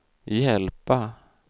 hjälpa